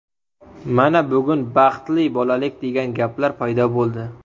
Mana, bugun baxtli bolalik degan gaplar paydo bo‘ldi.